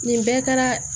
Nin bɛɛ kɛra